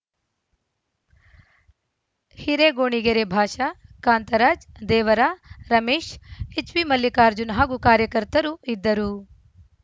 ಹಿರೆಗೋಣಿಗೆರೆಬಾಷಾ ಕಾಂತರಾಜ್‌ದೇವರಾ ರಮೇಶ್‌ಎಚ್‌ಬಿ ಮಲ್ಲಿಕಾರ್ಜುನ್‌ ಹಾಗೂ ಕಾರ್ಯಕರ್ತರು ಇದ್ದರು